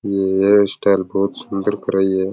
यह स्टाइल बहुत सुन्दर कराई है।